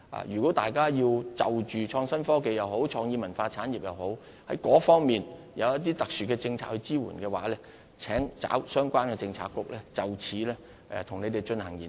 如果大家希望政府就着創新科技或創意文化產業提供特殊的政策支援，請找相關政策局就此進行研究。